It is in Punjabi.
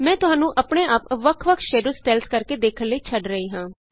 ਮੈਂ ਤੁਹਾਨੂੰ ਆਪਣੇ ਆਪ ਵੱਖ ਵੱਖ ਸ਼ੈਡੋ ਸਟਾਈਲਸ ਕਰਕੇ ਦੇਖਣ ਲਈ ਛੱਡ ਰਹੀ ਹਾ